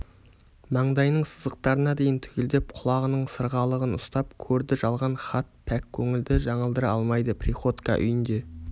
маңдайының сызықтарына дейін түгелдеп құлағының сырғалығын ұстап көрді жалған хат пәк көңілді жаңылдыра алмайды приходько үйінде